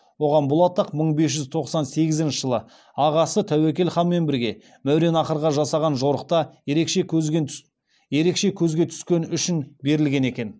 оған бұл атақ мың бес жүз тоқсан сегізінші жылы ағасы тәуекел ханмен бірге мауреннахрға жасаған жорықта түскені үшін берілген екен